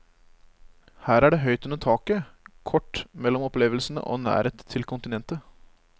Her er det høyt under taket, kort mellom opplevelsene og nærhet til kontinentet.